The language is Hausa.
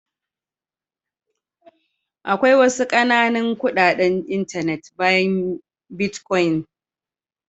Akwai wasu ƙananan kuɗaɗen intanet bayan bitcoin.